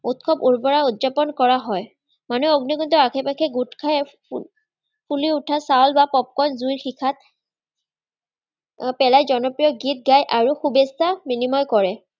উৎসৱ উৰ্বৰা উদযাপণ কৰা হয়। মানে অগ্নিকুণ্ডৰ আশে-পাশে গোটখাই ফুলি ওঠা চাউল বা Popcorn জুইৰ শিখাত পেলাই জনপ্ৰিয় গীত গায় আৰু শুভেচ্ছা বিনিময় কৰে।